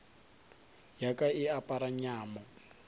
ya ka e apara nyamo